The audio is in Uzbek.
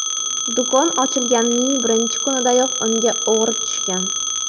Do‘kon ochilganining birinchi kunidayoq unga o‘g‘ri tushgan.